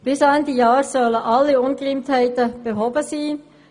Bis Ende Jahr sollen alle Ungereimtheiten behoben sein.